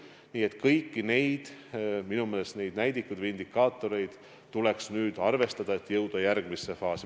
Nii et kõiki neid näidikuid või indikaatoreid tuleks nüüd arvestada, et jõuda järgmisse faasi.